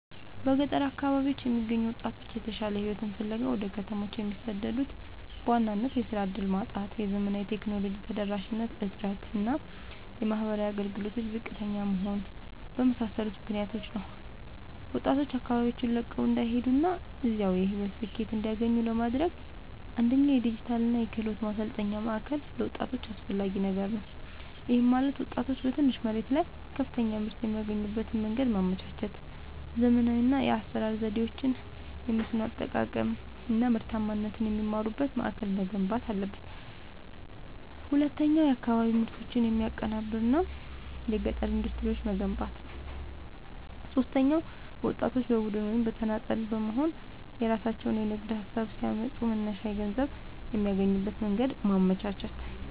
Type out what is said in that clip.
በገጠር አካባቢዎች የሚገኙ ወጣቶች የተሻለ ሕይወትን ፍለጋ ወደ ከተሞች የሚሰደዱት በዋናነት የሥራ ዕድል ማጣት፣ የዘመናዊ ቴክኖሎጂ ተደራሽነት እጥረት እና የማኅበራዊ አገልግሎቶች ዝቅተኛ መሆን በመሳሰሉ ምክኒያቶች ነው። ወጣቶች አካባቢያቸውን ለቀው እንዳይሄዱና እዚያው የሕይወት ስኬትን እንዲያገኙ ለማድረግ፣ አንደኛ የዲጂታልና የክህሎት ማሠልጠኛ ማእከል ለወጣቶች አስፈላጊ ነገር ነው። ይህም ማለት ወጣቶች በትንሽ መሬት ላይ ከፍተኛ ምርት የሚያገኙበትን መንገድ ማመቻቸት፣ ዘመናዊ የአሠራር ዘዴዎችን፣ የመስኖ አጠቃቀም አናምርታማነትን የሚማሩበት ማእከል መገንባት አለበት። ሁለተኛው የአካባቢ ምርቶችን የሚያቀናብር የገጠር ኢንዱስትሪዎችን መገንባት። ሦስተኛው ወጣቶች በቡድን ወይም በተናጠል በመሆንየራሣቸውን የንግድ ሀሳብ ሲያመጡ መነሻ ገንዘብ የሚያገኙበትን መንገድ ማመቻቸት።